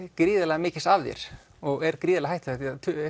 gríðarlega mikils af þér og er gríðarlega hættulegt